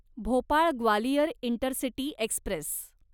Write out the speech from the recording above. Bhopal Gwalior intercity Express